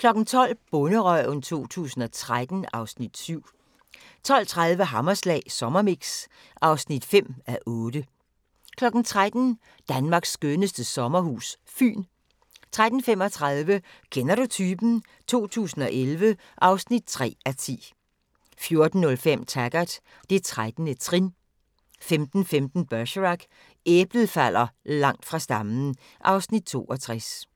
12:00: Bonderøven 2013 (Afs. 7) 12:30: Hammerslag Sommermix (5:8) 13:00: Danmarks skønneste sommerhus – Fyn 13:35: Kender du typen? 2011 (3:10) 14:05: Taggart: Det 13. trin 15:15: Bergerac: Æblet falder langt fra stammen (Afs. 62)